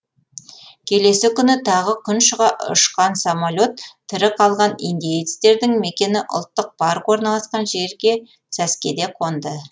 келесі күні тағы күн шыға ұшқан самолет тірі қалған индеецтердің мекені ұлттық парк орналасқан жерге сәскеде қонды